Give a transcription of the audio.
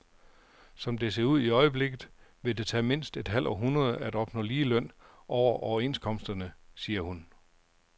Som det ser ud i øjeblikket, vil det tage mindst et halvt århundrede at opnå ligeløn over overenskomsterne, siger hun.